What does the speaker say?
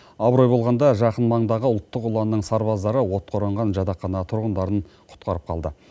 абырой болғанда жақын маңдағы ұлттық ұланның сарбаздары отқа оранған жатақхана тұрғындарын құтқарып қалды